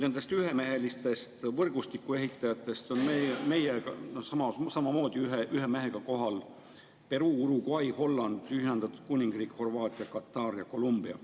Nendest ühemehelistest võrgustiku ehitajatest on meiega samamoodi ühe mehega kohal Peruu, Uruguay, Holland, Ühendkuningriik, Horvaatia, Katar ja Colombia.